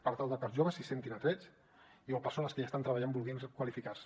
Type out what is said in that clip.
per tal de que els joves s’hi sentin atrets o persones que hi estan treballant vulguin qualificar se